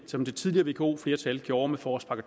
som det tidligere vko flertal gjorde med forårspakke